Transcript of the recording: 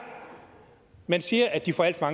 man siger at de får alt for